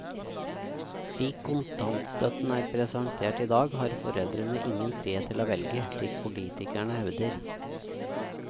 Slik kontantstøtten er presentert i dag har foreldrene ingen frihet til å velge, slik politikerne hevder.